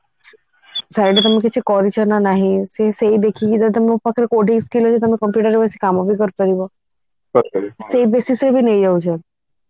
side ରେ ତମେ kitchen କରିଛ ନା ନାହିଁ ସେ ସେଇ ଦେଖିକି ତମ ପାଖେ coding skill ତମେ computer ରେ ବସିକି କାମ ବି କରି ପାରିବ ସେଇ basis ରେ ବି ନେଇ ଯାଉଛନ୍ତି